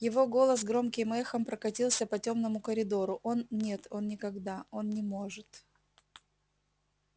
его голос громким эхом прокатился по тёмному коридору он нет он никогда он не может